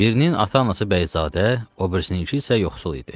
Birinin ata-anası bəyzadə, o birisinin ki isə yoxsul idi.